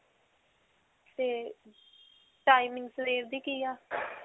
ਤੇ timing ਸਵੇਰ ਦੀ ਕਿ ਹੈ?